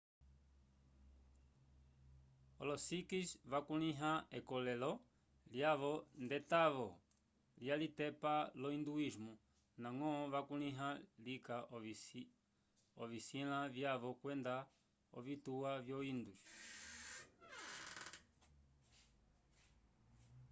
olo sikhs vakulĩha ekolelo lyavo nd'etavo lyalitepa lo hinduísmo ndañgo vakulĩha lika ovisĩla vyavo kwenda ovituwa vyo hindus